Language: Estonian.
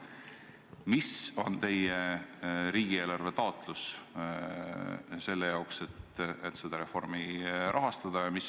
Mis summat te riigieelarvest taotlete selle jaoks, et seda reformi rahastada?